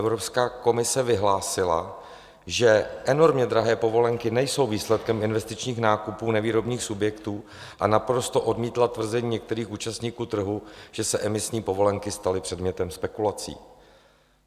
Evropská komise vyhlásila, že enormně drahé povolenky nejsou výsledkem investičních nákupů nevýrobních subjektů, a naprosto odmítla tvrzení některých účastníků trhu, že se emisní povolenky staly předmětem spekulací.